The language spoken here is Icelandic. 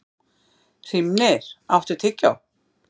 Hrímnir, áttu tyggjó?